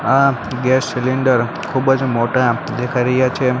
આ gas cylinder ખૂબજ મોટા દેખાય રહયા છે.